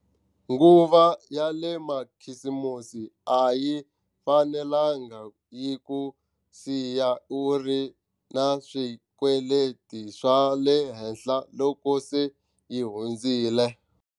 Nguva ya le makhisimusi a yi fanelanga yi ku siya u ri na swikweleti swa le henhla loko se yi hundzile.